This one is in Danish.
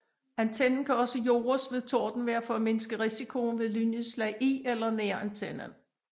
Antennen kan også jordes ved tordenvejr for at mindske risikoen ved lynnedslag i eller nær antennen